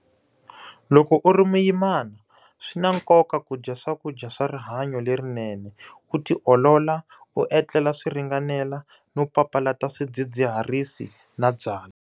Loko u ri muyimana, swi na nkoka ku dya swakudya swa rihanyu lerinene, u ti olola, u etlela swi ringanela no papalata swidzidziharisi na byalwa.